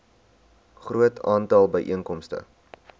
groot aantal byeenkomste